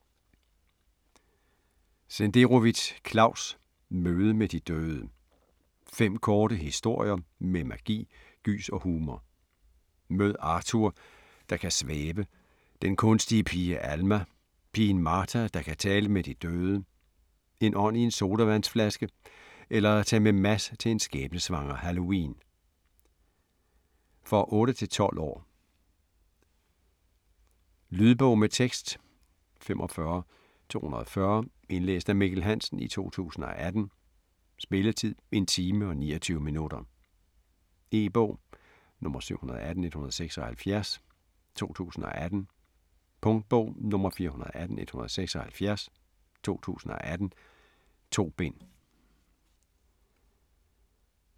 Senderovitz, Claus: Møde med de døde Fem korte historier med magi, gys og humor. Mød Arthur, der kan svæve, den kunstige pige Alma, pigen Martha, der kan tale med de døde, en ånd i en sodavandsflaske eller tag med Mads til en skæbnesvanger halloween. For 8-12 år. Lydbog med tekst 45240 Indlæst af Mikkel Hansen, 2018. Spilletid: 1 time, 29 minutter. E-bog 718176 2018. Punktbog 418176 2018. 2 bind.